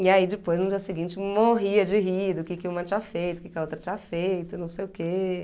E aí depois, no dia seguinte, morria de rir do que que uma tinha feito, do que que a outra tinha feito, não sei o quê.